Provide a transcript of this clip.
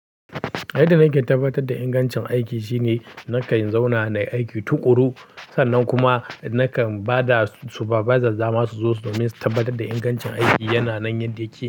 Inda na ke tabbatar da ingancin aiki shine na kan zauna na yi aiki tuƙuru, sannan kuma na kan ba supervisor dama su zo su min tabbatar da ingancin aiki yana nan yadda yake.